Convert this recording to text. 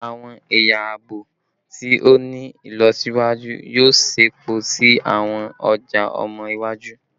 Awọn ẹya aabo ti o ni ilọsiwaju yoo ṣepọ si awọn ọja ọmọ iwaju